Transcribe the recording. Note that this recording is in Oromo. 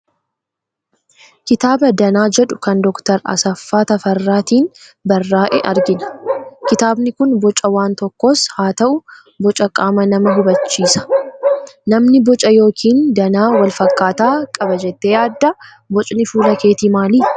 Kitaaba Danaa jedhu kan Dookter AseffaaTafarraatiin barraa'e argina. Kitaabni kun boca waan tokkoos haa ta'u, boca qaama namaa hubachiisa. Namni boca yookiin danaa wal fakkaataa qaba jettee yaaddaa? Bocni fuula keetii maali?